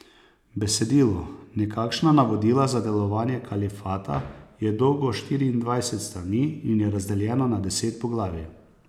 Besedilo, nekakšna navodila za delovanje kalifata, je dolgo štiriindvajset strani in je razdeljeno na deset poglavij.